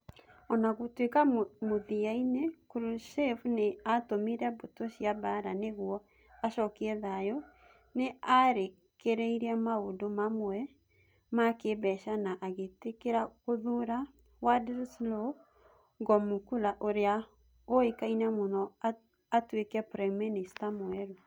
O na gũtuĩka mũthia-inĩ, Khrushchev nĩ aatũmire mbũtũ cia mbaara nĩguo acokie thayũ, nĩ aarekereirie maũndũ mamwe ma kĩĩmbeca na agĩtĩkĩra gũthuura Wladyslaw Gomulka ũrĩa ũĩkaine mũno atuĩke prime minister mwerũ.